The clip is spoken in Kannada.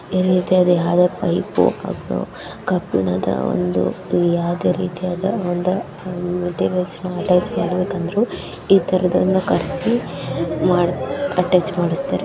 ಇರಿತಿಯಾದ ಯಾವುದೊ ಪೈಪು ಅದು ಕಬ್ಬಿಣದ ಒಂದು ಯಾವುದೇ ರೀತಿಯಾದ ಒಂದು ಅಟಾಚ್ ಮಾಡಬೇಕು ಅಂದರು ಇತರದವರನ್ನ ಕರೆಸಿ ಮಾಡು ಅಟಾಚ್ ಮಾಡುಸ್ತರೇ.